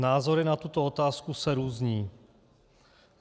Názory na tuto otázku se různí.